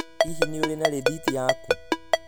Hihi nĩ ũrĩ na rethiti yaku?